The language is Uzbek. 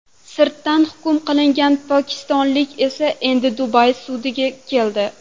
Sirtdan hukm qilingan pokistonlik esa endi Dubay sudiga keldi.